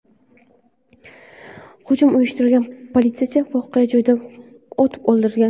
Hujum uyushtirgan politsiyachi voqea joyida otib o‘ldirilgan.